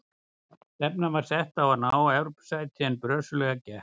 Stefnan var sett á að ná Evrópusæti en brösuglega gekk.